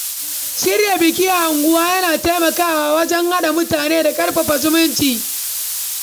Shirya biki a unguwa yana taimakawa wajen haɗa mutane da ƙarfafa zumunci.